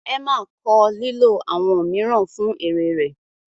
Emma kọ lilo awọn miiran fun ere rẹ